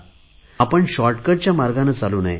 आपण शॉर्टकटच्या मार्गाने चालू नये